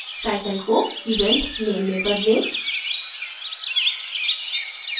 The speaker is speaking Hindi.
title को event name में बदलें